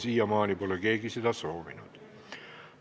Siiamaani pole keegi seda soovinud.